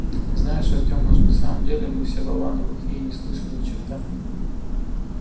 знаешь артём может на самом деле мы все болваны глухие и не слышим ни черта